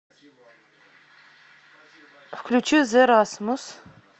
включи зе расмус